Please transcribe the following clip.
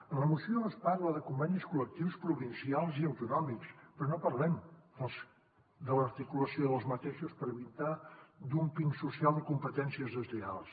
en la moció es parla de convenis col·lectius provincials i autonòmics però no parlem de l’articulació d’aquests per evitar dúmping social o competències deslleials